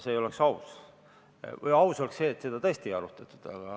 See oleks aus, seda tõesti ei arutatud.